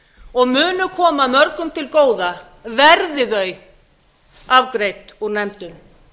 og munu koma mörgum til góða verði þau afgreidd út úr nefndum